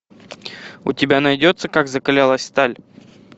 у тебя найдется как закалялась сталь